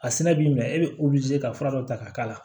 A sɛnɛ b'i minɛ e bɛ ka fura dɔ ta k'a k'a la